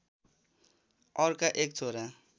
अर्का एक छोरा